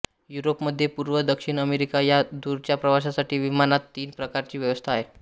Europe मध्य पूर्व दक्षिण अमेरिका या दूरच्या प्रवासासाठी विमानात तीन प्रकारची व्यवस्था आहे